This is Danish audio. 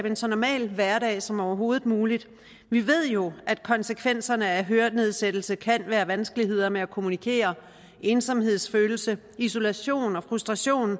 en så normal hverdag som overhovedet muligt vi ved jo at konsekvenserne af hørenedsættelse kan være vanskeligheder med at kommunikere ensomhedsfølelse isolation og frustration og